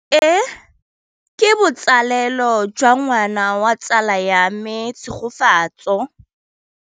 Tleliniki e, ke botsalêlô jwa ngwana wa tsala ya me Tshegofatso.